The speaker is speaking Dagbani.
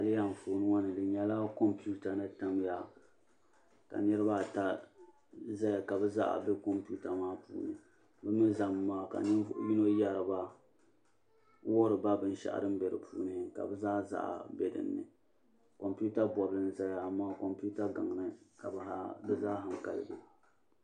Ayilihi anfooni ŋɔ ni di nyela kompita ni tamya ka niriba ata zaya ka bɛ zaɣa be kompita maa ni bɛ mi zami maa ka ninvuɣu yino yeri ba n wuhiri ba binshaɣu din be di puuni ka bɛ zaa zaɣa be di puuni kompita bobli n zaya amaa kompita gaŋa ni ka bɛ zaa hankali be.